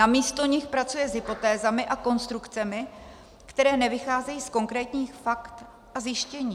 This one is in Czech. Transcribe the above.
Namísto nich pracuje s hypotézami a konstrukcemi, které nevycházejí z konkrétních faktů a zjištění.